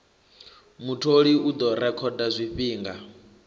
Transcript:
mutholi u ḓo rekhoda zwifhinga